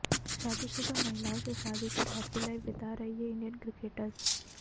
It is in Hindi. शादीशुदा महिलाओं से शादी कर हैप्पी लाइफ बिता रहे ये इंडियन क्रिकेटर्स